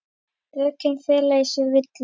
Rökin fela í sér villu.